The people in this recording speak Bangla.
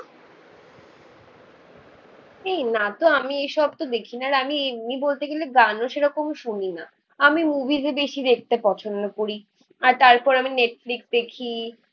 এই না তো আমি এসব তো দেখি না আর আমি এমনি বলতে গেলে গানও সেরকম শুনি না. আমি মুভিস ই বেশি দেখতে পছন্দ করি. আর তারপর আমি নেটফ্লিক্স দেখি